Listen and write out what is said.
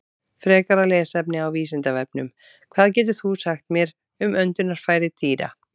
Frekara lesefni á Vísindavefnum: Hvað getur þú sagt mér um öndunarfæri dýra?